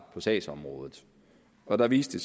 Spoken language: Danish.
på sagsområdet og der viste